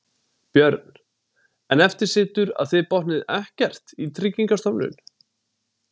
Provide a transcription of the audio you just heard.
Björn: En eftir situr að þið botnið ekkert í Tryggingastofnun?